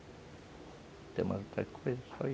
Não tem mais outra coisa, só isso.